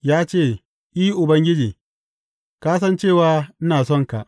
Ya ce, I, Ubangiji, ka san cewa ina sonka.